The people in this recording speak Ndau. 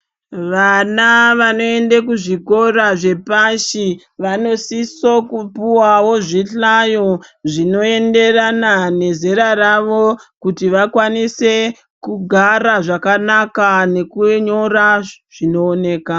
Vana vanoende muzvikora zvepashi vanosiso kupuwawo zvihlayo zvinoenderana nezera ravo kuti vakwanise kugara zvakanaka nekunyora zvinooneka.